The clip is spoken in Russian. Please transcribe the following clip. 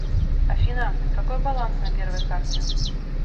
афина какой баланс на первой карте